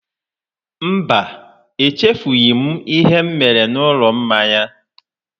Mba, echefughị ​​m ihe mere n'ụlọ mmanya